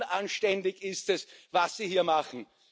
Unanständig ist es, was Sie hier machen.